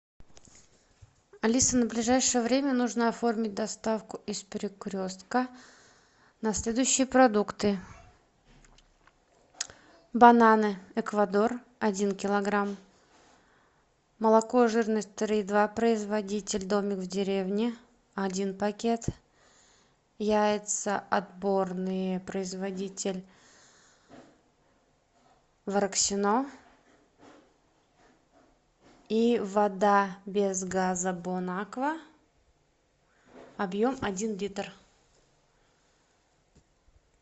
алиса на ближайшее время нужно оформить доставку из перекрестка на следующие продукты бананы эквадор один килограмм молоко жирность три и два производитель домик в деревне один пакет яйца отборные производитель вороксино и вода без газа бон аква объем один литр